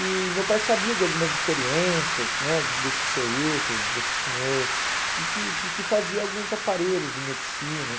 E meu pai sabia de algumas experiências né desse seu Hilton, desse senhor, que que que que fazia alguns aparelhos de medicina.